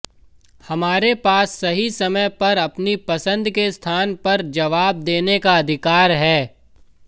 हमारे पास सही समय पर अपनी पसंद के स्थान पर जवाब देने का अधिकार है